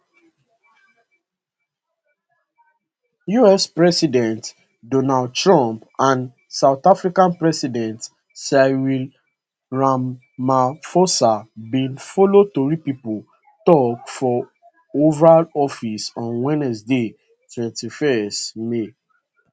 us president donald trump and south african president cyril ramaphosa bin follow tori pipo tok for oval office on wednesday 21 may